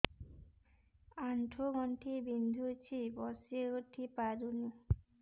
ଆଣ୍ଠୁ ଗଣ୍ଠି ବିନ୍ଧୁଛି ବସିଉଠି ପାରୁନି